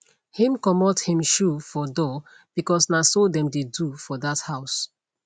him comot him shoe for door because na so them dey do for that house